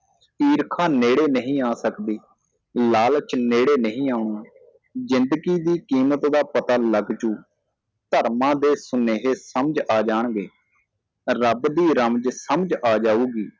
ਈਰਖ਼ਾ ਨੇੜੇ ਨਹੀ ਆ ਸਕਦੀ ਲਾਲਚ ਨੇੜੇ ਨਹੀ ਆਉਣਾ ਜਿੰਦਗੀ ਦੀ ਕੀਮਤ ਦਾ ਪਤਾ ਲਗ ਜੁ ਧਰਮਾਂ ਦੇ ਸੁਨੇਹੇ ਸਮਝ ਆ ਜਾਣਗੇ ਰੱਬ ਦੀ ਰਮਝ ਸਮਝ ਆ ਜਾਊਗੀ